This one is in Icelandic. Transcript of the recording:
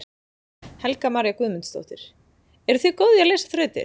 Helga María Guðmundsdóttir: Eruð þið góð í að leysa þrautir?